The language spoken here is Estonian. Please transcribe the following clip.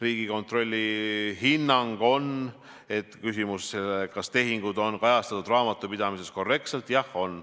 Riigikontrolli hinnangul on vastus küsimusele, kas tehingud on kajastatud raamatupidamises korrektselt: jah on.